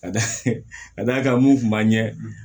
Ka d'a kan mun kun b'an ɲɛ